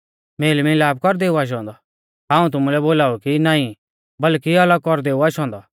तुमै का सुंच़ाई कि हाऊं धौतरी दी मेल मिलाप कौरदै ऊ आशौ औन्दौ हाऊं तुमुलै बोलाऊ कि नाईं बल्कि अलग कौरदै ऊ आशौ औन्दौ